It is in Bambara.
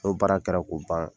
N' baara kɛra ko ban